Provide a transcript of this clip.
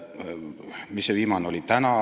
" Mis see viimane oligi?